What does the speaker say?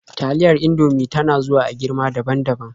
Taliyar Indomie ta na zuwa a girma daban-daban.